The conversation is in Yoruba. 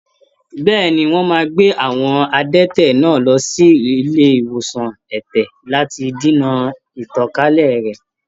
Bẹ́ẹ̀ni, wọ́n máa gbé àwọn adẹ́tẹ̀ náà lọ sí ilé ìwòsan ẹ̀tẹ̀ lati dènà ìtànkálẹ̀ rẹ̀.